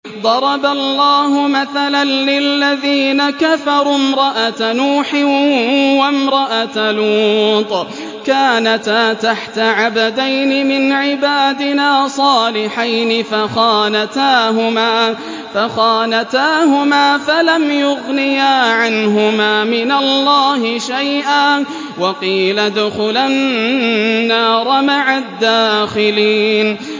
ضَرَبَ اللَّهُ مَثَلًا لِّلَّذِينَ كَفَرُوا امْرَأَتَ نُوحٍ وَامْرَأَتَ لُوطٍ ۖ كَانَتَا تَحْتَ عَبْدَيْنِ مِنْ عِبَادِنَا صَالِحَيْنِ فَخَانَتَاهُمَا فَلَمْ يُغْنِيَا عَنْهُمَا مِنَ اللَّهِ شَيْئًا وَقِيلَ ادْخُلَا النَّارَ مَعَ الدَّاخِلِينَ